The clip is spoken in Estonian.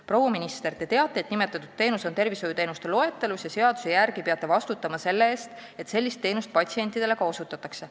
Proua minister, te teate, et nimetatud teenus on tervishoiuteenuste loetelus ja seaduse järgi peate vastutama selle eest, et sellist teenust patsientidele ka osutatakse.